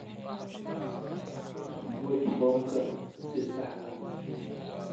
Buuxi foomkan si sax ah.